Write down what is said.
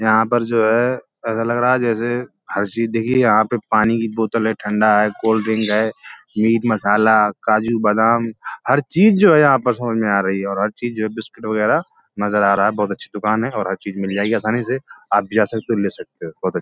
यहाँ पर जो है ऐसा लग रहा है जैसे हर चीज़ देखिये यहाँ पर पानी की बोतल है ठंडा है कोल्ड ड्रिंक है मीट मसाला काजू बादाम हर चीज़ जो है यहाँ पर समझ में आ रही हैं और चीज़ जो है बिस्कुट वगेरा नज़र आ रहा है | बोहोत अच्छी दुकान है और हर चीज़ मिल जाएगी आसानी से आप भी जा सकते हो ले सकते हो बोहोत --